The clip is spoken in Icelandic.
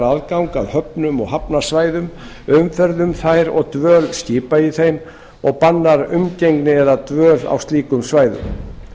aðgang að höfnum og hafnarsvæðum umferð um þær og dvöl skipa í þeim og bannar umgengni eða dvöl á slíkum svæðum